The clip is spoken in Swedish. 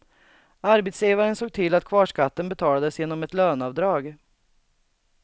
Arbetsgivaren såg till att kvarskatten betalades genom ett löneavdrag.